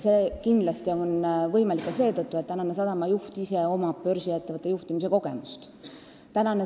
See on kindlasti võimalik tänu sellele, et praegusel sadama juhil on börsiettevõtte juhtimise kogemus.